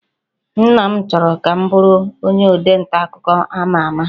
Nna m chọrọ ka m bụrụ onye ode nta akụkọ ama ama